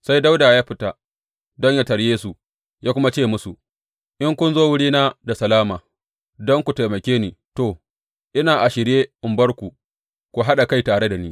Sai Dawuda ya fita don yă tarye su, ya kuma ce musu, In kun zo wurina da salama, don ku taimake ni, to, ina a shirye in bar ku ku haɗa kai tare da ni.